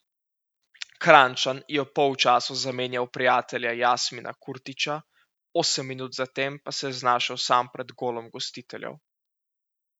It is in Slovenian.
Kranjčan je ob polčasu zamenjal prijatelja Jasmina Kurtića, osem minut zatem pa se je znašel sam pred golom gostiteljev.